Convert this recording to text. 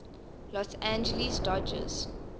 los angeles dodgers